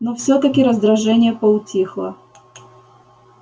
но всё-таки раздражение поутихло